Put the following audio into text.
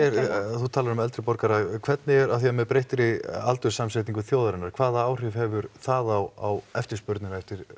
þú talar um eldri borgara hvernig er af því að með breyttri aldurssamsetningu þjóðarinnar hvaða áhrif hefur það á eftirspurnina eftir